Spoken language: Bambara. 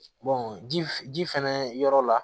ji ji fɛnɛ yɔrɔ la